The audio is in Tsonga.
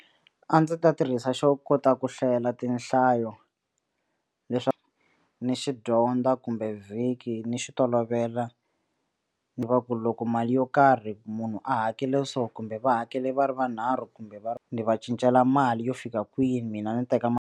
A ndzi ta tirhisa xo kota ku hlayela tinhlayo leswaku ni xi dyondza kumbe vhiki ni xi tolovela ni va ku loko mali yo karhi munhu a hakele so kumbe va hakele va ri vanharhu kumbe va ni va cincela mali yo fika kwini mina ni teka .